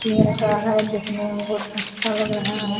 है दिखने में बहुत अच्छा लग रहा है।